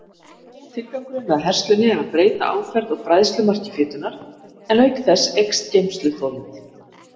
Tilgangurinn með herslunni er að breyta áferð og bræðslumarki fitunnar, en auk þess eykst geymsluþolið.